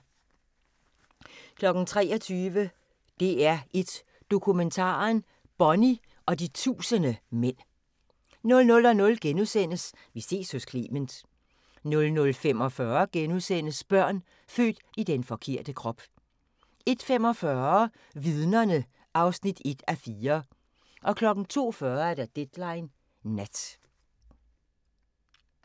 23:00: DR1 Dokumentaren: Bonnie og de tusinde mænd 00:00: Vi ses hos Clement * 00:45: Børn født i den forkerte krop * 01:45: Vidnerne (1:4) 02:40: Deadline Nat